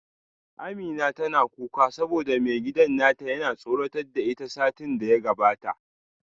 Amina tana kuka saboda maigidan nata yana tsoratar da ita satin da ya gabata